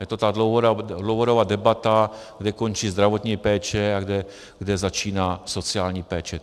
Je to ta dlouhodobá debata, kde končí zdravotní péče a kde začíná sociální péče.